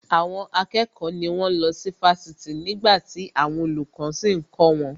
Àwọn akẹ́kọ̀ọ́ ni wón ń lọ sí Fásitì nígbàtí àwọn olùkọ́ sì ń kọ́ wọn